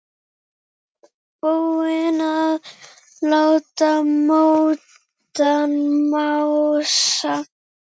Búinn að láta móðan mása.